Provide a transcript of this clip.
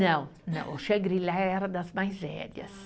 Não, não, o Xangrilá era das mais velhas. Ah